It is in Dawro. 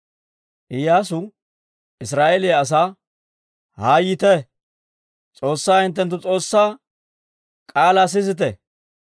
Iyyaasu Israa'eeliyaa asaa, «Haa yiite; S'oossaa hinttenttu S'oossaa k'aalaa sisite.